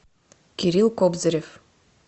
кирилл кобзарев